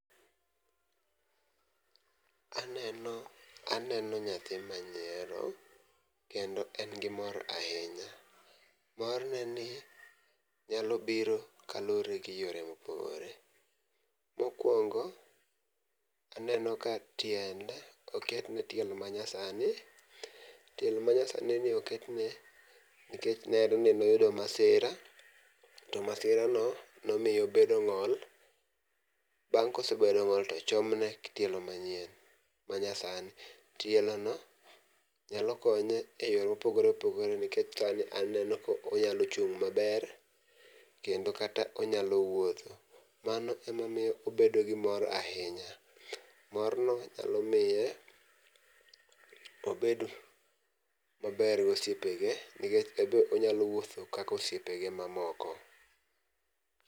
Aneno aneno nyathi manyiero kendo en gi mor ahinya. Mor neni nyalo biro kaluwore gi yore mopogore. Mokwongo aneno ka tiende oketne tielo ma nya sani tielo manya sani oketne nikech ne oyud masira to masira no nomiye obedo ng'ol. Bang'e kosebedo ng'ol tochomne tielo manyien manya sani tielo no nyalo kone e yore mopogore oogore nikech sani aneno konyalo chung' maber kendo kata onyalo wuotho. Mano emamiyo obedo gi mor ahinya . Mor no nyalo miye obed maber gi osiepege nikech ebe onyalo wuotho kaka osiepe ge mamoko.